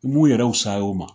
U b'u yɛrɛ fisay' o ma.